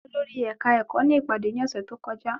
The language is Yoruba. Gbogbo olórí ẹ̀ka ẹ̀kọ́ ní ìpàdé ní ọ̀sẹ́ tó kọjá.